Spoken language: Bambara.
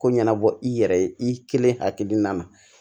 Ko ɲɛnabɔ i yɛrɛ ye i kelen hakilina na